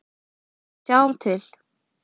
Við sjáum til.